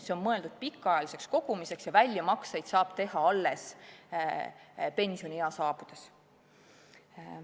See on mõeldud pikaajaliseks kogumiseks ja väljamakseid saab teha alles pensioniea saabudes.